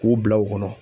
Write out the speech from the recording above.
K'u bila u kɔnɔ